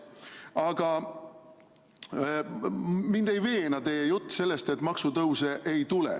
Aga mind ei veena teie jutt sellest, et maksutõuse ei tule.